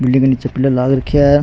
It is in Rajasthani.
बिलडिंग के निचे पिलर लाग रखा है।